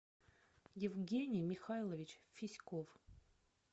евгений михайлович фиськов